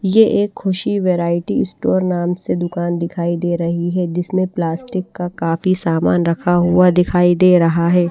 ये एक Khushi variety store नाम से दुकान दिखाई दे रही है जिसमें प्लास्टिक का काफी सामान रखा हुआ दिखाई दे रहा है।